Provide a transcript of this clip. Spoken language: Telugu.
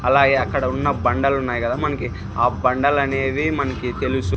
అలాగే అక్కడ ఉన్న బండలు ఉన్నాయి కదా మనకి ఆ బండలు అనేవి మనకి తెలుసు.